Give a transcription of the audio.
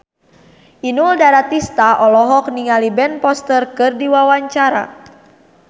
Inul Daratista olohok ningali Ben Foster keur diwawancara